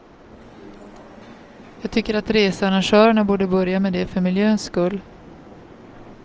Jag tycker att researrangörerna borde börja med det för miljöns skull.